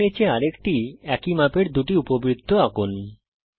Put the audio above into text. একের নীচে আরেকটি একই মাপের 2টি উপবৃত্ত আঁকুন